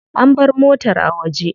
An bar motar a waje.